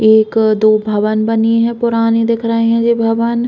एक दो भवन बनी हैं। पुरानी दिख रही हैं ये भवन।